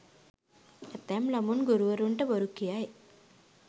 ඇතැම් ළමුන් ගුරුවරුන්ට බොරු කියයි.